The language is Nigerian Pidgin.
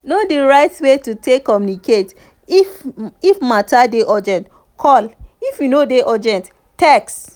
know di right way to take communicate; if matter dey urgent call if e no dey urgent text